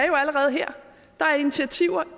jo allerede der er initiativer